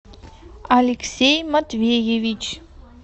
алексей матвеевич